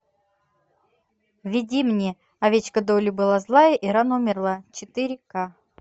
введи мне овечка долли была злая и рано умерла четыре ка